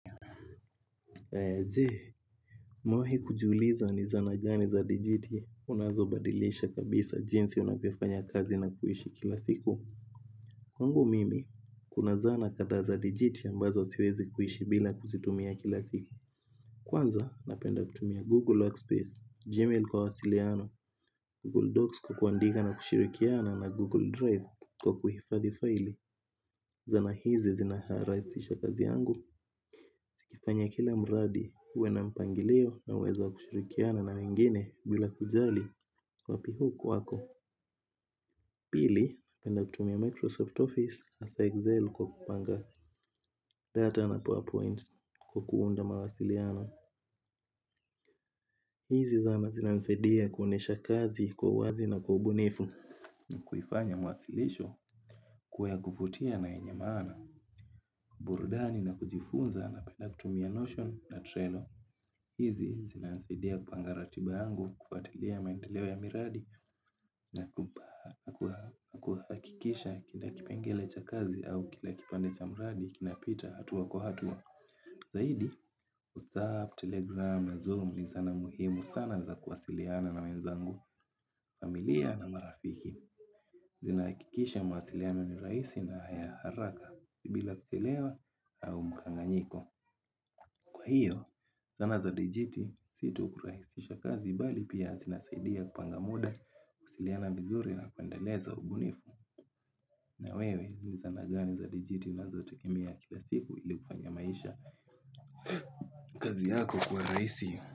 Je, umewahi kujiuliza ni zana gani za digiti unazobadilisha kabisa jinsi unavyofanya kazi na kuishi kila siku? Kwangu mimi, kuna zana kadhaa za digiti ambazo siwezi kuishi bila kuzitumia kila siku. Kwanza, napenda kutumia Google Workspace, Gmail kwa wasiliano, Google Docs kwa kuandika na kushirikiana na Google Drive kwa kuhifadhi faili. Zana hizi zinarahisisha kazi yangu zikifanya kila mradi uwe na mpangilio na uwezo wa kushirikiana na wengine bila kujali wapi huku wako. Pili, napenda kutumia Microsoft Office hasa Excel kwa kupanga data na PowerPoint kwa kuunda mawasiliano. Hizi zana zinanisadia kuonyesha kazi kwa uwazi na kwa ubunifu. Kuifanya mawasilisho kuwa ya kuvutia na yenye maana, burudani na kujifunza napenda kutumia Notion na Trello. Hizi zinanisaidia kupanga ratiba yangu kufuatilia maendeleo ya miradi na kuhakikisha kila kipengele cha kazi au kila kipande cha miradi kinapita hatuwa kuhatua. Zaidi, WhatsApp, Telegram, Zoom ni zana muhimu sana za kuwasiliana na wenzangu, familia na marafiki. Zinahakikisha mawasiliano ni rahisi na ya haraka bila kuchelewa au mkanganyiko. Kwa hiyo zana za dijiti si tu kurahisisha kazi bali pia zinasaidia kupanga muda kuwasiliana vizuri na kuendeleza ubunifu. Na wewe ni zana gani za dijiti unazo tumia kila siku ili kufanya maisha kazi yako kuwa rahisi?